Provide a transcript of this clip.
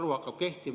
Andre Hanimägi, palun!